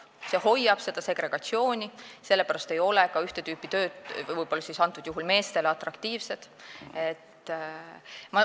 See hoiab alal seda segregatsiooni, sellepärast ei ole mingit tüüpi tööd võib-olla meestele atraktiivsed.